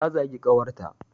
Ta zagi kawar ta